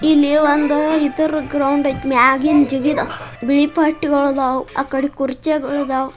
ಇಲ್ಲಿ ಒಂದು ಇದರ ಗ್ರೌಂಡ್ ಐತಿ ಮೇಗಿಂದ ಜಿಗಿದು ಬಿಳಿ ಪಟ್ಟಿಗಳಾದವು ಆ ಕಡೆ ಕುರ್ಚಿಗಳಾದವು.